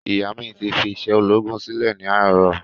Ìyá mí ti fí isé ológun silẹ ni àárò